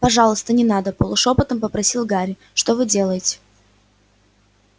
пожалуйста не надо полушёпотом попросил гарри что вы делаете